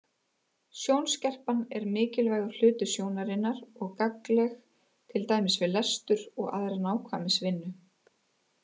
Sjónskerpan er mikilvægur hluti sjónarinnar og gagnleg til dæmis við lestur og aðra nákvæmnisvinnu.